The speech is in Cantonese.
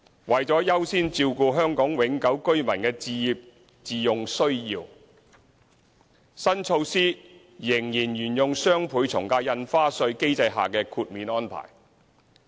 為了優先照顧香港永久性居民的置業自用需要，新措施仍沿用雙倍從價印花稅機制下的豁免安排。